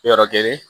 Yɔrɔ kelen